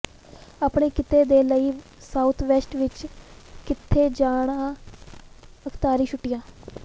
ਆਪਣੇ ਕਿੱਤੇ ਦੇ ਲਈ ਸਾਊਥਵੈਸਟ ਵਿੱਚ ਕਿੱਥੇ ਜਾਣਾ ਅਖ਼ਤਿਆਰੀ ਛੁੱਟੀਆਂ